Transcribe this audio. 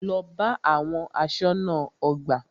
Lọ bá àwọn aṣọ́nà ọgbà!